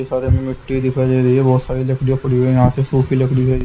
सारे में मिट्टी दिखाई दे रही है बहुत सारी लकड़ी पड़ी हुई है यहाँ से सूखी लकड़ी है।